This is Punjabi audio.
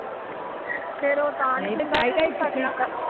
ਫਿਰ ਉਹ ਤਾ